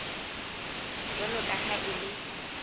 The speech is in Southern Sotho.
jwalo ka ha e le